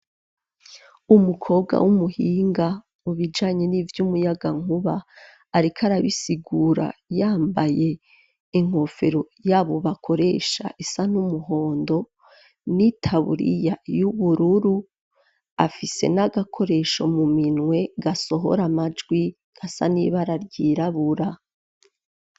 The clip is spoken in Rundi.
Umukobwa w'umuhinga mubijanye n'ivy'umuyagankuba ariko arabisigura yambaye inkofero y'abo bakoresha isa n'umuhondo n'itaburiya y'ubururu afise n'agakoresho mu minwe gasohora amajwi gasa n'ibara ryirabura.